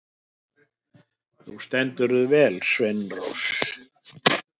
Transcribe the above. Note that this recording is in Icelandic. Þú stendur þig vel, Sveinrós!